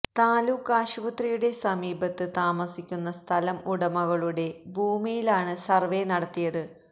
താലൂക്ക് ആശുപത്രിയുടെ സമീപത്ത് താമസിക്കുന്ന സ്ഥലം ഉടമകളുടെ ഭൂമിയിലാണ് സർവേ നടത്തിയത്